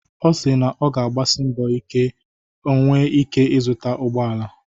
Ọ si na ọ ga-agbasi mbọ ike ka o nwee ike ịzụta ụgbọ ala.